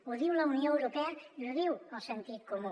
ho diu la unió europea i ho diu el sentit comú